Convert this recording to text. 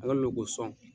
An ka lu ko sɔn